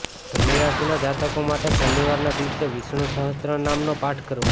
ધનુ રાશી ના જાતકો માટે શનિવારના દિવસે વિષ્ણુ સહસ્ત્રનામ નો પાઠ કરવો